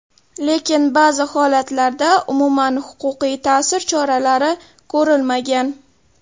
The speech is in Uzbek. Lekin ba’zi holatlarda umuman huquqiy ta’sir choralari ko‘rilmagan.